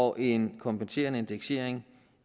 og en kompenserende indeksering